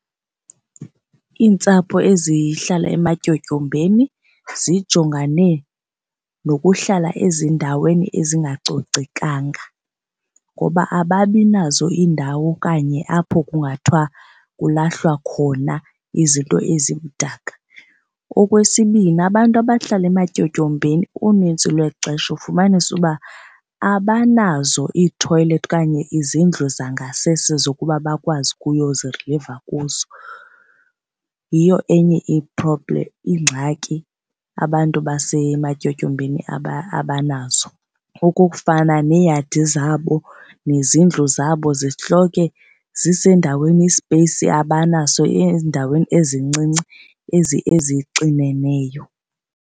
Iintsapho ezihlala ematyotyombeni zijongane nokuhlala ezindaweni ezingacocekanga ngoba ababi nazo iindawo okanye apho kungathiwa kulahlwa khona izinto ezimdaka. Okwesibini, abantu abahlala ematyotyombeni unintsi lwexesha ufumanisa uba abanazo iithoyilethi okanye izindlu zangasese zokuba bakwazi ukuyoziriliva kuzo, yiyo enye i-problem ingxaki abantu basematyotyombeni abanazo. Okokufana neeyadi zabo nezindlu zabo zihloke zisendaweni i-space abanaso ezindaweni ezincinci ezixineneyo.